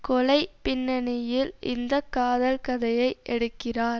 கொலை பின்னணியில் இந்த காதல் கதையை எடுக்கிறார்